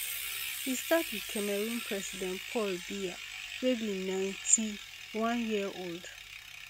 e start wit cameroon president paul biya wey be ninety-one year old